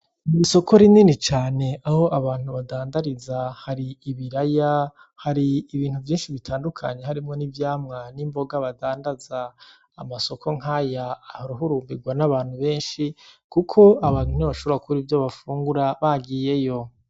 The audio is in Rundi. N’isoko rinini cane aho abantu badandariza hari ibiraya, hari ibintu vyinshi bitandukanye harimwo n’ivyamwa n’imboga badandaza. Amasoko nk’aya ahoruhumbirwa n’abantu benshi kuko abantu ntibashobora kubura ivyo bafungura bagiyeyo